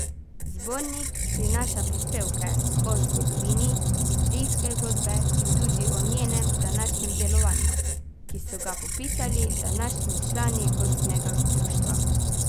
Zbornik prinaša prispevke o zgodovini idrijske godbe in tudi o njenem današnjem delovanju, ki so ga popisali današnji člani godbenega društva.